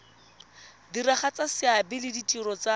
diragatsa seabe le ditiro tsa